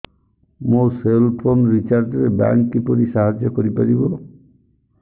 ମୋ cell phone recharge ରେ bank କିପରି ସାହାଯ୍ୟ କରିପାରିବ